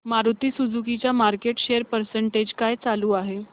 Maruti Suzuki चा market share percentage काय चालू आहे